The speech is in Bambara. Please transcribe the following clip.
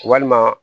Walima